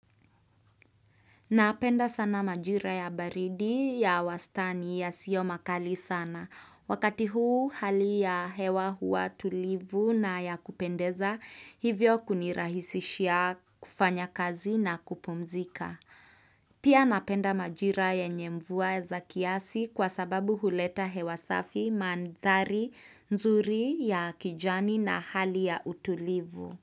Napenda sana majira ya baridi ya wastani ya siyo makali sana. Wakati huu hali ya hewa hua tulivu na ya kupendeza hivyo kunirahisishia kufanya kazi na kupumzika. Pia napenda majira yenye mvuwa za kiasi kwa sababu huleta hewa safi, madhari, nzuri ya kijani na hali ya utulivu.